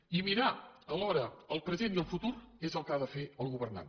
i mirar alhora el present i el futur és el que ha de fer el governant